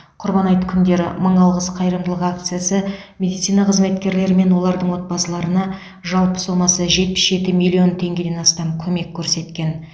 құрбан айт күндері мың алғыс қайырымдылық акциясы медицина қызметкерлері мен олардың отбасыларына жалпы сомасы жетпіс жеті миллион теңгеден астам көмек көрсеткен